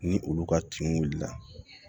Ni olu ka kinw wulila